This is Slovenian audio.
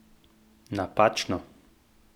Napačno!